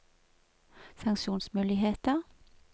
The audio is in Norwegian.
sanksjonsmuligheter